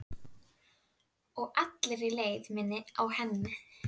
Og allri leið minni að henni.